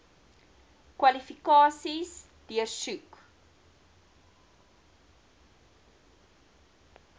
kwalifikasies deursoek